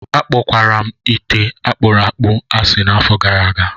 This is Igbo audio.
Akpọkwara m ite ite akpuru akpu asị n'afọ gara aga